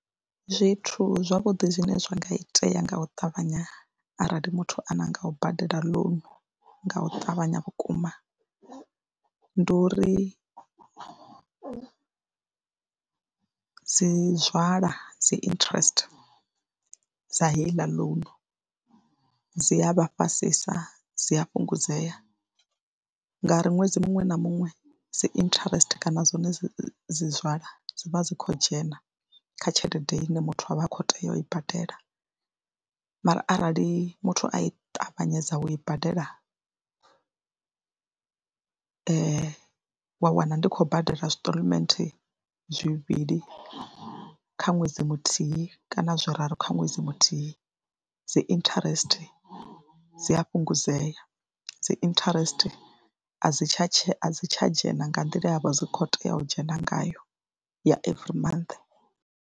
Zwithu zwavhuḓi zwine zwa nga itea nga u ṱavhanya arali muthu a nanga u badela ḽounu nga u ṱavhanya vhukuma, ndi uri u dzi nzwala dzi interest dza heiḽa ḽounu dzi a vha fhasisa. Dzi a fhungudzea ngauri ṅwedzi muṅwe na muṅwe dzi interest kana dzone dzi dzi nzwala dzi vha dzi khou dzhena kha tshelede ine muthu a vha a khou tea u i badela, mara arali muthu a i ṱavhanyedza u i badela wa wana ndi khou badela stalment zwivhili kha ṅwedzi muthihi kana zwi raru kha ṅwedzi muthihi dzi interest dzi a fhungudzea, dzi interest a dzi tsha dzhena a dzi tsha dzhena nga nḓila ye ya vha dzi khou tea u dzhena ngayo ya every month.